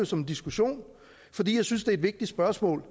som en diskussion fordi jeg synes er et vigtigt spørgsmål